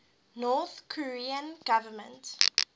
north korean government